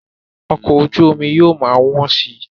Ọkọ̀ ojú omi yóò ma wọ́n si